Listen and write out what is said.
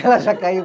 Ela já caiu.